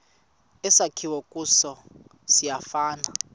esakhiwe kuso siyafana